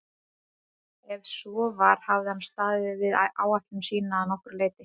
Ef svo var hafði hann staðið við ætlun sína að nokkru leyti.